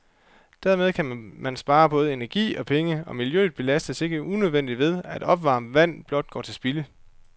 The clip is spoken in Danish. Dermed kan man spare både energi og penge, og miljøet belastes ikke unødigt ved, at opvarmet vand blot går til spilde.